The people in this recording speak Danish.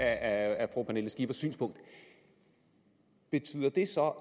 af fru pernille skippers synspunkt betyder det så